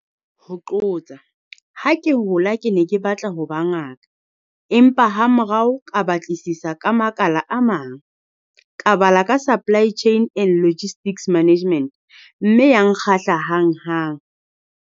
Ha ke hola ke ne ke batla ho ba ngaka, empa hamorao ka batlisisa ka makala a mang. Ka bala ka supply chain and logistics management mme ya nkgahla hanghang.